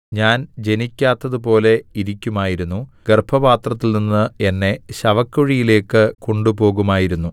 ഞാൻ ജനിക്കാത്തതുപോലെ ഇരിക്കുമായിരുന്നു ഗർഭപാത്രത്തിൽനിന്ന് എന്നെ ശവക്കുഴിയിലേക്ക് കൊണ്ടുപോകുമായിരുന്നു